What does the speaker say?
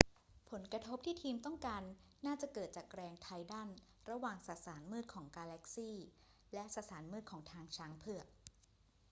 ผลกระทบที่ทีมต้องการน่าจะเกิดจากแรงไทดัลระหว่างสสารมืดของกาแล็กซีและสสารมืดของทางช้างเผือก